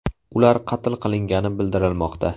Ular qatl qilingani bildirilmoqda.